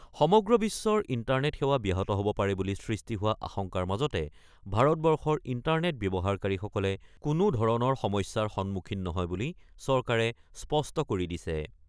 সমগ্ৰ বিশ্বৰ ইণ্টাৰনেট সেৱা ব্যাহত হ'ব পাৰে বুলি সৃষ্টি হোৱা আশংকাৰ মাজতে ভাৰতবৰ্ষৰ ইণ্টাৰনেট ব্যৱহাৰকাৰীসকলে কোনোধৰণৰ সমস্যাৰ সন্মুখীন নহয় বুলি চৰকাৰে স্পষ্ট কৰি দিছে।